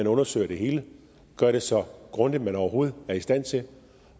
undersøger det hele og gør det så grundigt man overhovedet er i stand til